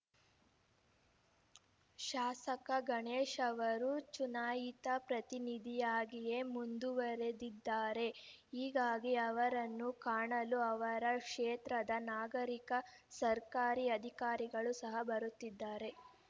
ಶಾಸಕ ಗಣೇಶ್‌ ಅವರು ಚುನಾಯಿತ ಪ್ರತಿನಿಧಿಯಾಗಿಯೇ ಮುಂದುವರೆದಿದ್ದಾರೆ ಹೀಗಾಗಿ ಅವರನ್ನು ಕಾಣಲು ಅವರ ಕ್ಷೇತ್ರದ ನಾಗರೀಕ ಸರ್ಕಾರಿ ಅಧಿಕಾರಿಗಳು ಸಹ ಬರುತ್ತಿರುತ್ತಾರೆ